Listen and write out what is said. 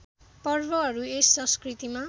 पर्वहरू यस संस्कृतिमा